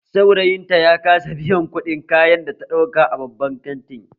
Saurayin ta ya kasa biyan kuɗin kayan da ta ɗauka a babban kantin